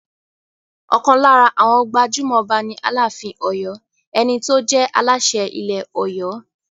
Ọ̀kan lára àwọn gbajúmọ̀ Ọba ni Aláàfin Ọ̀yọ́, ẹni tó jẹ́ Aláṣẹ ilẹ̀ Ọ̀yọ́.